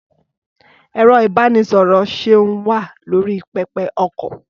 Ẹ̀rọ-ìbánisọ̀rọ̀ Seun wà lórí pẹpẹ-okọ̀.